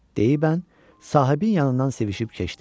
Deyi bən, sahibin yanından sevişib keçdi.